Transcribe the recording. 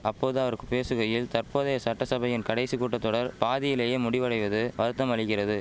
அப்போது அவருக்கு பேசுகையில் தற்போதைய சட்டசபையின் கடைசி கூட்டத்தொடர் பாதியிலேயே முடிவடைவது வருத்தமளிகிறது